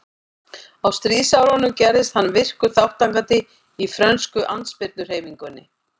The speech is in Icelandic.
Á stríðsárunum gerðist hann virkur þátttakandi í frönsku andspyrnuhreyfingunni.